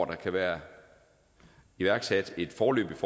kan være iværksat et foreløbigt